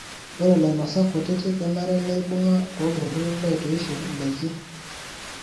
Ore lainosak kutiti kenare neibunga toltururi loitoisho ndaiki.